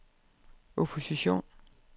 opposition